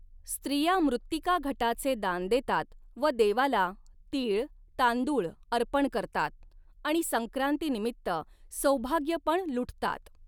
स्त्रिया मृत्तिका घटाचे दान देतात व देवाला तीळ, तांदूळ अर्पण करतात आणि संक्रातीनिमित्त सौभाग्यपण लुटतात.